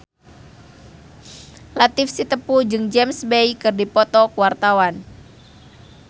Latief Sitepu jeung James Bay keur dipoto ku wartawan